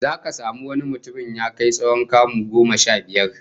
Zaka samu wani mutumin ya kai tsawon kamu goma sha biyar